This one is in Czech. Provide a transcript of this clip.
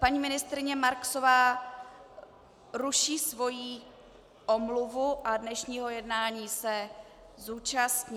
Paní ministryně Marksová ruší svoji omluvu a dnešního jednání se zúčastní.